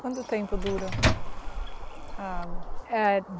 Quanto tempo dura a água? Eh...